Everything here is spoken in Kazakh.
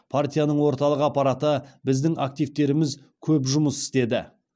партияның орталық аппараты біздің активтеріміз көп жұмыс істеді